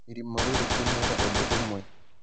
Irimũ rĩu rĩkĩmwĩra ũndũ ũmwe